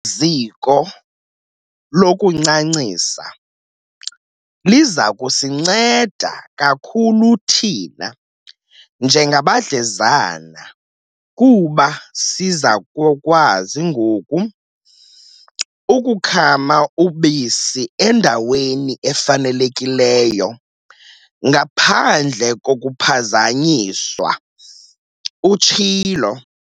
"Eli ziko lokuncancisa liza kusinceda kakhulu thina njengabadlezana kuba siza kukwazi ngoku ukukhama ubisi endaweni efanelekileyo ngaphandle kokuphazanyiswa," utshilo.